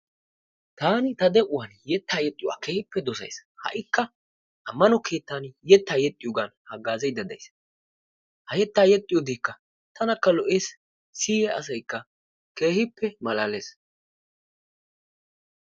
Taani ta de'uwaan yettaa yexxiyoogaa keehiipe dosays. Haikka amano keettan yetaa yexxiyogan hagaazaydda days. Ha yettaa yexxiyoogekka tanakka lo'ees siyiya asaykka keehiippe malalees.